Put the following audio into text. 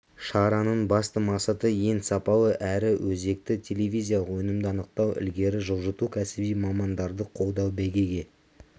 шараның басты мақсаты ең сапалы әрі өзекті телевизиялық өнімді анықтау ілгері жылжыту кәсіби мамандарды қолдау бәйгеге